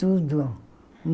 Tudo.